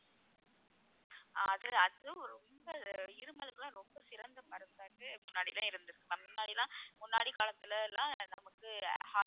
அது அது ரொம்ப இருமலுக்கெல்லாம் ரொம்ப சிறந்த மருந்தாக முன்னாடியெல்லாம் இருந்திருக்கு ma'am முன்னாடி எல்லாம் முன்னாடி காலத்துல எல்லாம் நமக்கு